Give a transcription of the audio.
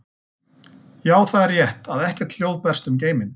Já, það er rétt að ekkert hljóð berst um geiminn.